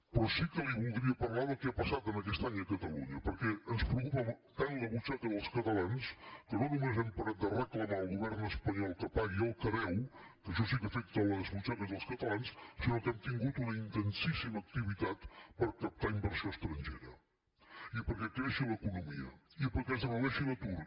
però sí que li voldria parlar del que ha passat aquest any a catalunya perquè ens preocupa tant la butxaca dels catalans que no només no hem parat de reclamar al govern espanyol que pagui el que deu que això sí que afecta les butxaques dels catalans sinó que hem tingut una intensíssima activitat per captar inversió estrangera i perquè creixi l’economia i perquè es redueixi l’atur